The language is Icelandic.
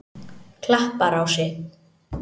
Klapparási